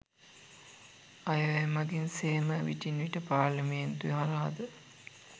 අය වැය මඟින් සේම විටින් විට පාර්ලිමේන්තුව හරහාද